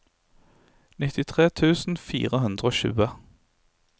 nittitre tusen fire hundre og tjue